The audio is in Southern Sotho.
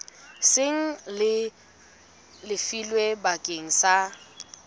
seng le lefilwe bakeng sa